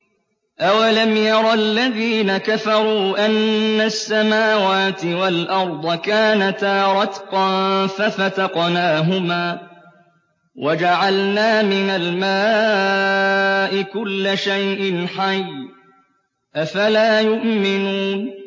أَوَلَمْ يَرَ الَّذِينَ كَفَرُوا أَنَّ السَّمَاوَاتِ وَالْأَرْضَ كَانَتَا رَتْقًا فَفَتَقْنَاهُمَا ۖ وَجَعَلْنَا مِنَ الْمَاءِ كُلَّ شَيْءٍ حَيٍّ ۖ أَفَلَا يُؤْمِنُونَ